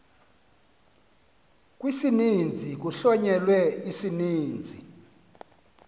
kwisininzi kuhlonyelwe isininzisi